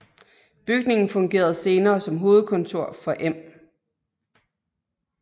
Bygningen fungerede senere som hovedkontor for Em